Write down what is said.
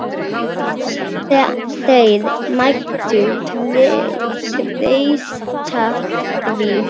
Þeir mættu treysta því.